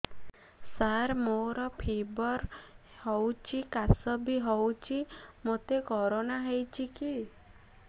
ସାର ମୋର ଫିବର ହଉଚି ଖାସ ବି ହଉଚି ମୋତେ କରୋନା ହେଇଚି କି